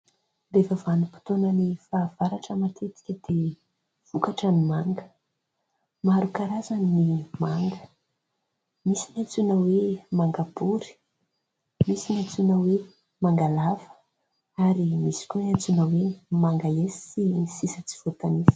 Rehefa vanim-potoanan'ny fahavaratra matetika dia vokatra ny manga. Maro karazany ny manga : misy ny antsoina hoe manga bory, misy ny antsoina hoe manga lava ary misy koa ny antsoina hoe manga hesy sy ny sisa tsy voatanisa.